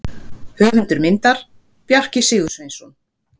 Höfundur myndar: Bjarki Sigursveinsson.